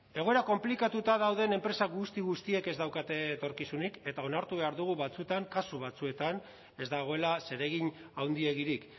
egoera konplikatua dauden enpresa guzti guztiek ez daukate etorkizunik eta onartu behar dugu batzuetan kasu batzuetan ez dagoela zeregin handiegirik